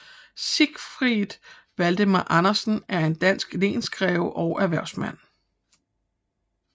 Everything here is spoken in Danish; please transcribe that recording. Siegfried Valdemar Andersen er en dansk lensgreve og erhvervsmand